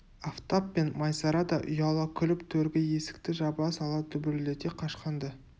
афтап пен майсара да ұяла күліп төргі есікті жаба сала дүбірлете қашқанды